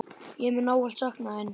Ég mun ávallt sakna þín.